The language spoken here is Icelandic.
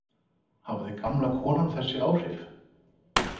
Hafði gamla konan þessi áhrif?